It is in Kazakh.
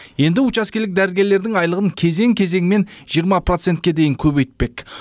енді учаскелік дәрігерлердің айлығын кезең кезеңмен жиырма процентке дейін көбейтпек